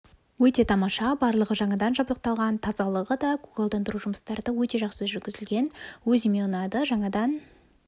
өте тамаша барлығы жаңадан жабдықталған тазалығы да көгалдандыру жұмыстары да өте жақсы жүргізілген өзіме ұнады жаңадан